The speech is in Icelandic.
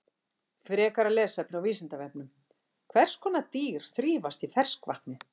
Frekara lesefni á Vísindavefnum: Hvers konar dýr þrífast í ferskvatni?